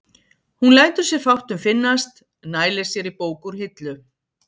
Hún lætur sér fátt um finnast, nælir sér í bók úr hillu.